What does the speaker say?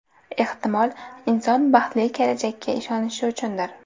Ehtimol, inson baxtli kelajakka inonishi uchundir.